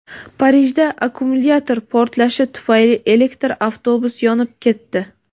Parijda akkumulyator portlashi tufayli elektr avtobus yonib ketdi.